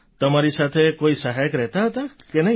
તમારી સાથે કોઈ સહાયક રહેતા હતા કે નહીં